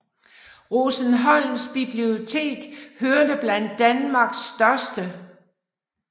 Rosenholms bibliotek hørte blandt Danmarks største